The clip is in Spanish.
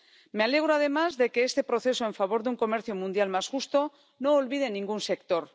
Me alegro, además, de que este proceso en favor de un comercio mundial más justo no olvide ningún sector.